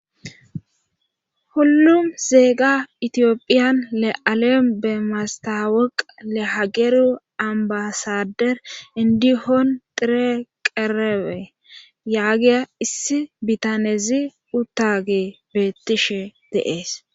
Hullum zeega itiyopphiyan le7alen bemastaweqa le hageru ambasader indihon tire qerewe yaagiya issi bitanezi uttage beettishe de'ees.